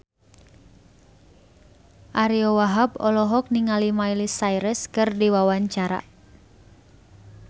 Ariyo Wahab olohok ningali Miley Cyrus keur diwawancara